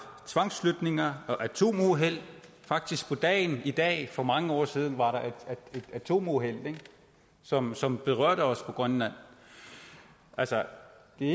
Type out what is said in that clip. tvangsflytninger og atomuheld faktisk var der i dag for mange år siden et atomuheld som som berørte os i grønland altså det